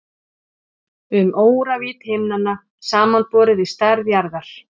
um óravídd himnanna samanborið við stærð jarðar